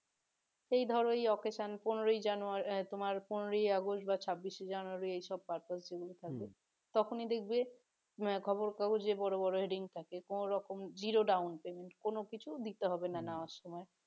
এই ধরো এই occasion পনেরো জানুয়ারি এই তোমার পনেরোই আগস্ট বা ছাব্বিশ শে জানুয়ারি এই সব গুলো purpose যেগুলো তখনই দেখবি খবরের কাগজে বড় বড় heading থাকে কোনো রকম zero down payment কোনো কিছু দিতে হবে না নেওয়ার সময়